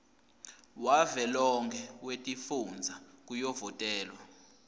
wavelonkhe wetifundza kuyovotelwa